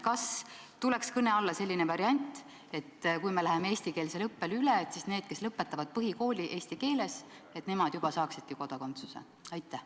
Kas tuleks kõne alla selline variant, et kui me läheme eestikeelsele õppele üle, siis need, kes lõpetavad põhikooli eesti keeles, saaksidki kodakondsuse?